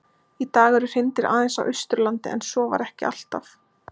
Í dag eru hreindýr aðeins á Austurlandi en svo var ekki alltaf.